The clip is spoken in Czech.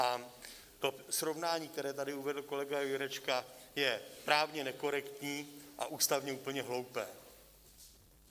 A to srovnání, které tady uvedl kolega Jurečka, je právně nekorektní a ústavně úplně hloupé.